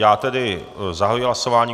Já tedy zahajuji hlasování.